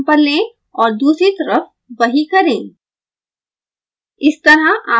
एक अन्य जम्पर लें और दूसरी तरफ वही करें